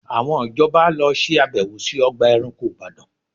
Àwọn ìjọba lọ ṣe àbẹ̀wò sí ọgbà ẹranko Ìbàdàn